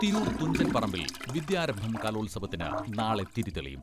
തിരൂർ തുഞ്ചൻ പറമ്പിൽ വിദ്യാരംഭം കലോത്സവത്തിന് നാളെ തിരി തെളിയും.